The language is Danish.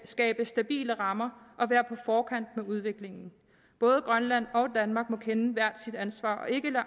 skabe stabile rammer og være på forkant med udviklingen både grønland og danmark må kende hvert sit ansvar